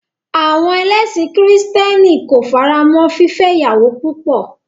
À̀wọn lẹ́sìn kìrìtẹ́nì ko faramọ́ fífẹ́ ìyàwó púpọ̀.